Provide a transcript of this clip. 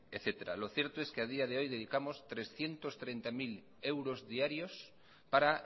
etcétera lo cierto es que a día de hoy dedicamos trescientos treinta mil euros diarios para